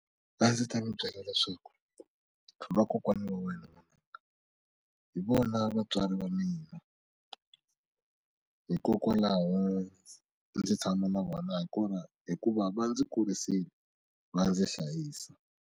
A ndzi ta mi byela leswaku vakokwana va wena hi vona vatswari va mina hikokwalaho ndzi tshama na vona hi kona hikuva va ndzi kurisiwe va ndzi hlayisa.